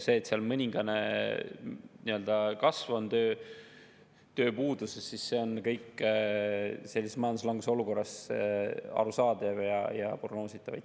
See, et on mõningane tööpuuduse kasv, on kõik sellises majanduslanguse olukorras arusaadav ja prognoositav.